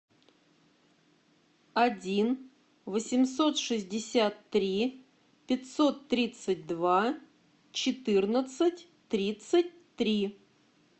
один восемьсот шестьдесят три пятьсот тридцать два четырнадцать тридцать три